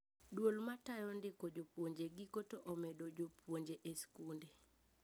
Duol matayo ndiko jupuoje giko to omedo jopuonje e skunde